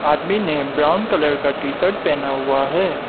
आदमी ने brown colour का टी शर्ट पहना हुआ है।